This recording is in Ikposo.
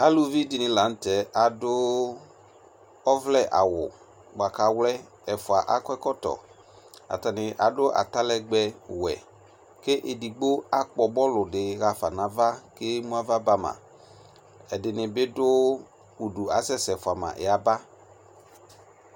Alubi de ne lantɛ aso ɔvlɛ awu boako awlɛ Atane ado atalɛgbɛwɛ ko edigbo akpɔ nɔlu de hafa no ava ke mu ava ba ma Ɛdene be do udu asɛsɛ fua ma yaba